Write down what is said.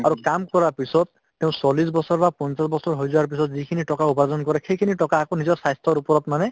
আৰু কাম কৰাৰ পিছত তেওঁ চল্লিশ বছৰ বা পঞ্চাশ বছৰ হৈ যোৱাৰ পিছত যিখিনি টকা উপাৰ্জন কৰে সেইখিনি টকা আকৌ নিজৰ স্বাস্থ্যৰ ওপৰত মানে